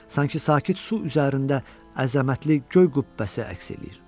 Sanki sakit su üzərində əzəmətli göy qübbəsi əks eləyir.